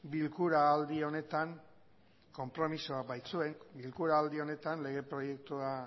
bilkura aldi honetan konpromisoa baitzuen bilkura aldi honetan lege proiektua